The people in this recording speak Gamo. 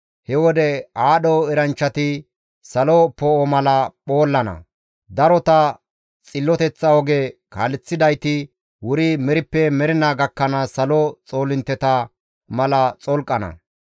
He wode aadho eranchchati salo poo7o mala phoollana; darota xilloteththa oge kaaleththidayti wuri merippe mernaa gakkanaas salo xoolintteta mala xolqana.